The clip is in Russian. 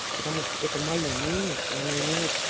потому что это моё мнение и оно имеет